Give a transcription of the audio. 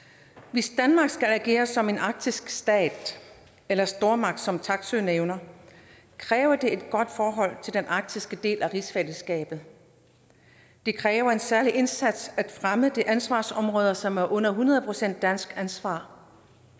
hvis danmark skal agere som en arktisk stat eller stormagt som taksøe nævner kræver det et godt forhold til den arktiske del af rigsfællesskabet det kræver en særlig indsats at fremme de ansvarsområder som er hundrede procent dansk ansvar